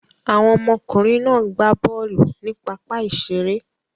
Àwọn ọmọkùnrin náà gbá bọ́ọ́lù ní pápá-ìṣeré.